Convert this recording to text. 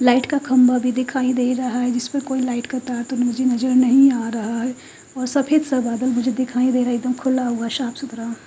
Light का खंभा भी दिखाई दे रहा है जिसमें कोई लाइट का तार तो मुझे नजर नहीं आ रहा है और सफेद सा बादल मुझे दिखाई दे रहा है एक दम खुला हुआ साफ सुथरा।